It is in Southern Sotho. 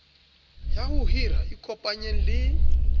ya ho hira ikopanyeng le